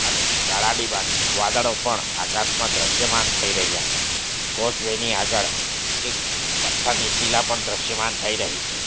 અને કાળા ડિબાંગ વાદળો પણ આકાશમાં દ્રશ્યમાન થઈ રહ્યા છે કોઝવે ની આગળ એક પથ્થરની શીલા પણ દ્રશ્યમાન થઈ રહી છે.